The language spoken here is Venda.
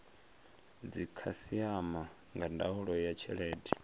dzikhasiama nga ndaulo ya tshelede